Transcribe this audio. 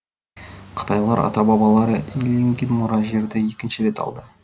қытайлар ата бабалары иеленген мұра жерді екінші рет алды